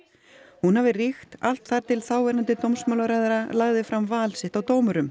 hún hafi ríkt allt þar til þáverandi dómsmálaráðherra lagði fram val sitt á dómurum